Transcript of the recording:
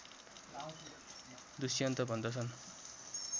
दुष्यन्त भन्दछन्